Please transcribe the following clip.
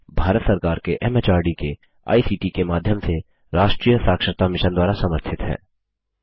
यह भारत सरकार के एमएचआरडी के आईसीटी के माध्यम से राष्ट्रीय साक्षरता मिशन द्वारा समर्थित है